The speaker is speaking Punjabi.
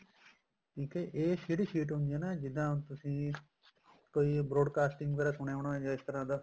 ਠੀਕ ਏ ਇਹ ਜਿਹੜੀ sheet ਹੈ ਹੁੰਦੀ ਹੈ ਨਾ ਜਿੱਦਾਂ ਤੁਸੀਂ ਕੋਈ broadcasting ਬਾਰੇ ਸੁਣਿਆ ਹੋਣਾ ਇਸ ਤਰ੍ਹਾਂ ਦਾ